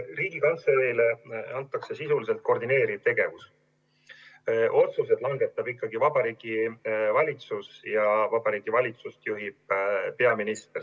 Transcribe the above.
Riigikantseleile antakse sisuliselt koordineeriv tegevus, otsused langetab ikkagi Vabariigi Valitsus ja seda juhib peaminister.